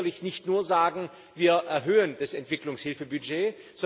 Wir können sicherlich nicht nur sagen Wir erhöhen das Entwicklungshilfebudget.